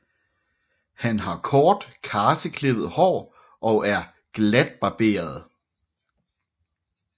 Han har kort karseklippet hår og er glatbarberet